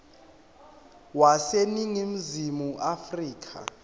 wase ningizimu afrika